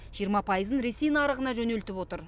жиырма пайызын ресей нарығына жөнелтіп отыр